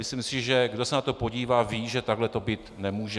Myslím si, že kdo se na to podívá, ví, že takhle to být nemůže.